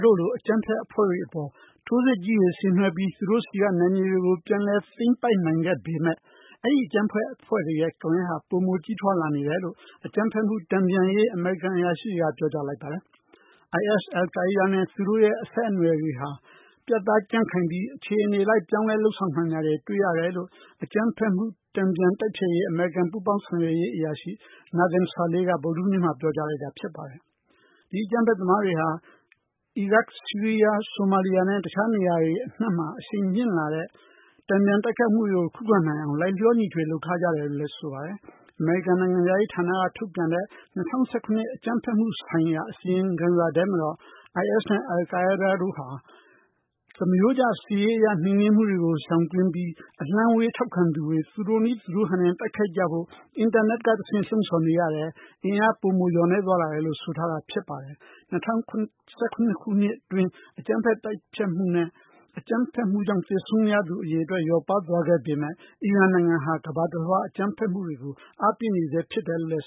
တို့လို အကြမ်းဖက်အဖွဲ့တွေအပေါ် ထိုးစစ်ကြီးတွေ ဆင်နွဲှပြီး သူတို့ဆီက နယ်မြေတွေကို ပြန်လည် သိမ်းပိုက်နိုင်ခဲ့ပေမယ့် အဲဒီအကြမ်းဖက်အဖွဲ့တွေရဲ့ ကွန်ရက်ဟာ ပိုမို ကြီးထွားလာနေတယ်လို့ အကြမ်းဖက်မှုတန်ပြန်ရေး အမေရိကန်အရာရှိတွေက ပြောကြားလိုက်ပါတယ်။ IS ၊ အယ်လ်ကိုင်းဒါးနဲ့ သူတို့ရဲ့အဆက်အနွယ်တွေဟာ ပြတ်သားကြံ့ခိုင်ပြီး အခြေအနေလိုက် ပြောင်းလဲ လုပ်ဆောင်နိုင်တာတွေ တွေ့ရတယ်လို့ အကြမ်းဖက်မှု တန်ပြန်တိုက်ဖျက်ရေး အမေရိကန် ပူးပေါင်းဆောင်ရွက်ရေး အရာရှိ Nathan Sales က ဗုဒ္ဓဟူးနေ့မှာ ပြောကြားလိုက်တာဖြစ်ပါတယ်။ ဒီအကြမ်းဖက်သမားတွေဟာ အီရတ်၊ ဆီရီးယား၊ ဆိုမာလီးယားနဲ့ အခြားနေရာတွေအနှံမှာ အရှိန်မြင့်လာတဲ့ တန်ပြန်တိုက်ခိုက်မှုတွေကို ခုခံနိုင်အောင် လိုက်လျောညီထွေ လုပ်ထားကြတယ်လို့ ဆိုပါတယ်။ အမေရိကန်နိုင်ငံခြားရေးဌာနက ထုတ်ပြန်တဲ့ ၂၀၁၇ခုနှစ် အကြမ်းဖက်မှုဆိုင်ရာ အစီရင်ခံစာထဲမှာတော့ IS နဲ့ အယ်လ်ကိုင်းဒါးတို့ဟာ သမားရိုးကျ စစ်ရေးအရ နှိမ်နင်းမှုတွေကို ရှောင်ကွင်းပြီး အလှမ်းဝေးထောက်ခံသူတွေ သူတို့နည်း သူတို့ဟန်နဲ့ တိုက်ခိုက်ကြဖို့ အင်တာနက်ကတဆင့် လှုံဆော်နေရတယ်။ အင်အားပိုမိုလျော့နည်းသွားတယ်လို့ ဆိုထားတာဖြစ်ပါတယ်။ ၂၀၁၇ခုနှစ်အတွင်း အကြမ်းဖက် တိုက်ဖျက်မှုနဲ့ အကြမ်းဖက်မှုကြောင့် သေဆုံးခဲ့ရသူ အရေအတွက်လျော့ပါးသွားခဲ့ရပေမဲ့ အီရန်နိုင်ငံဟာ ကမ္ဘာတလွှား အကြမ်းဖက်မှုတွေကို အားပေးနေဆဲဖြစ်တယ်လို့